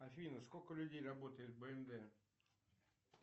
афина сколько людей работает в бмв